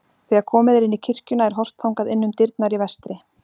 Þegar komið er inn í kirkjuna er horft þangað inn um dyrnar í vestri.